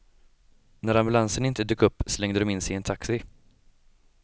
När ambulansen inte dök upp slängde de sig in i en taxi.